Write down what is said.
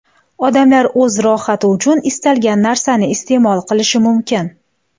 Odamlar o‘z rohati uchun istalgan narsani iste’mol qilishi mumkin.